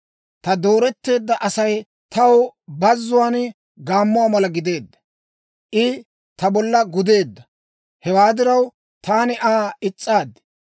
Ta dooretteedda Asay taw bazzuwaan gaammuwaa mala gideedda. I ta bolla gudeedda; hewaa diraw, taani Aa is's'aad.